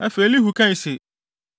Afei Elihu kae se,